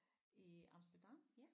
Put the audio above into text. I Amsterdam